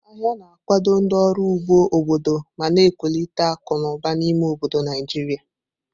Ahịa na-akwado ndị ọrụ ugbo obodo ma na-ewulite akụ na ụba n'ime obodo Naijiria.